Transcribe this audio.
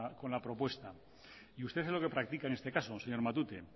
con la propuesta y usted es lo que practica en este caso señor matute